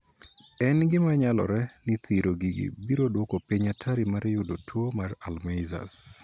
En gima nyalore ni thiro gigi biro duoko piny atari mar yudo tuo mar Alzheimer.